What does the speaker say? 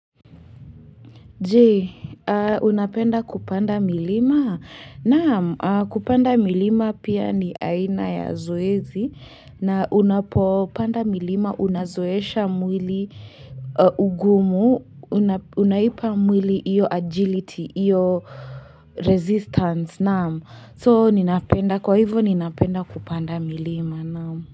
Je, unapenda kupanda milima? Naam, kupanda milima pia ni aina ya zoezi na unapopanda milima unazoesha mwili ugumu Unaipa mwili hiyo agility, hiyo resistance. Naam, kwa hivyo ninapenda kupanda milima.